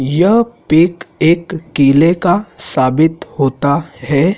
यह पिक एक किले का साबित होता है।